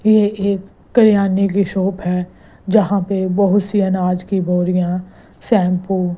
ये एक किराने की शॉप है जहां पे बहोत सी अनाज की बोरिया शैम्पू --